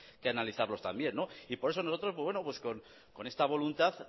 que analizarlo también y por eso nosotros con esta voluntad